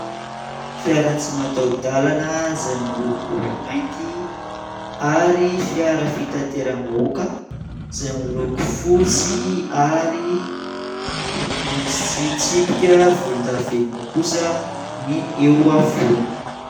Fiara tsy mataho-dalana izay miloko mainty ary fiara fitateram-bahoaka izay miloko fotsy ary misy tsipika volondavenona kosa ny eo afovoany.